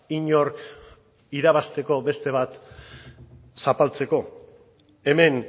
inork irabazteko beste bat zapaltzeko hemen